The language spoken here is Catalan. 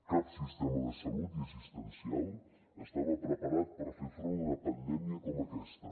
cap sistema de salut i assistencial estava preparat per fer front a una pandèmia com aquesta